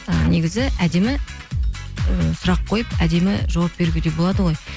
і негізі әдемі і сұрақ қойып әдемі жауап беруге де болады ғой